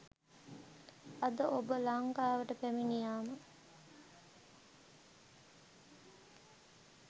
අද ඔබ ලංකාවට පැමිණියාම